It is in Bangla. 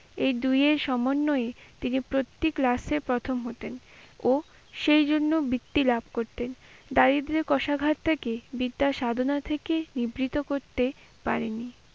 এই দুইয়ের সমন্বয়ে তিনি প্রতেক class এ প্রথম হতেন, ও সেই জন্য বৃত্তি লাভ করতেন। দারিদ্রের কষাঘাত থেকে বিদ্যাসাধনা থেকে নিদ্রিত করতে পারেনি।